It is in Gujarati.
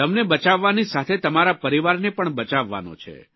તમને બચાવવાની સાથે તમારા પરિવારને પણ બચાવવાનો છે